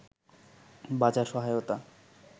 বাজার সহায়তা